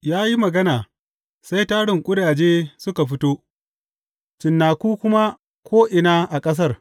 Ya yi magana, sai tarin ƙudaje suka fito, cinnaku kuma ko’ina a ƙasar.